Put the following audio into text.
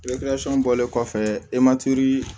bɔlen kɔfɛ e ma tori